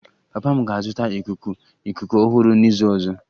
Papa m ga-azụta ikuku ikuku ọhụrụ n'izu ọzọ